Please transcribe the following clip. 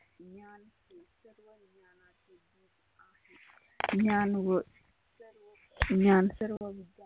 ज्ञान व सर्व ज्ञान सर्व विचार